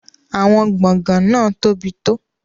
Àwọn gbọ̀ngàn náà tóbi tó.